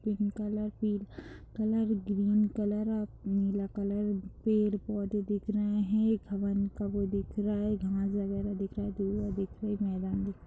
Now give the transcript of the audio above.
Pink colour पीला colour green colour और नीला कलर पड़े पौधे दिख रहे हैं। एक हवन का वो दिख रहा है। घास वगैरह दिख रही है धुआं दिख रहा है मैदान दिख --